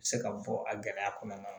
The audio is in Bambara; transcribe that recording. Se ka bɔ a gɛlɛya kɔnɔna na